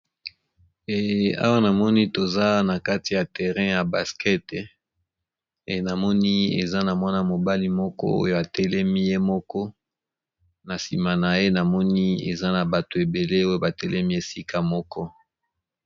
Awa, namoni toza na kati ya terrain ya baskete. Namoni eza na mwana mobali moko oyo atelemi ye moko. Na nsima na ye namoni eza na bato ebele oyo batelemi esika moko.